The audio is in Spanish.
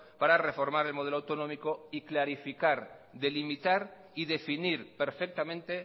para reformar el modelo autonómico y clarificar delimitar y definir perfectamente